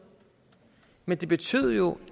men det betød jo